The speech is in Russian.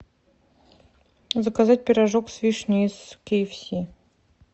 заказать пирожок с вишней из киэфси